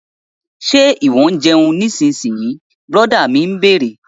Ṣe ìwọ ń jẹun nísinyí? Brọ̀dá mi bẹ̀rẹ̀